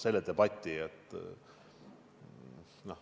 selle debati.